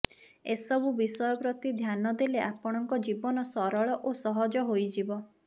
ଏସବୁ ବିଷୟ ପ୍ରତି ଧ୍ୟାନ ଦେଲେ ଆପଣଙ୍କ ଜୀବନ ସରଳ ଓ ସହଜ ହୋଇଯିବ